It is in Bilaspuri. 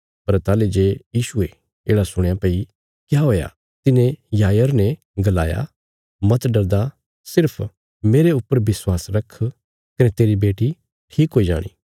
पर ताहली जे यीशुये येढ़ा सुणया भई क्या हुया तिन्हे याईर ने गलाया मत डरदा सिर्फ मेरे ऊपर विश्वास रख कने तेरी बेटी ठीक हुई जाणी